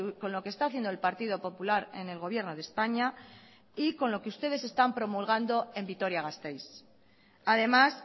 con lo que está haciendo el partido popular en el gobierno de españa y con lo que ustedes están promulgando en vitoria gasteiz además